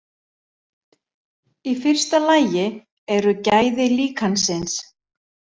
Í fyrsta lagi eru gæði líkansins.